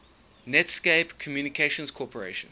netscape communications corporation